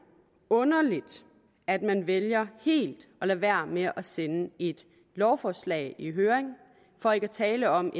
underligt at man vælger helt at lade være med at sende et lovforslag i høring for ikke at tale om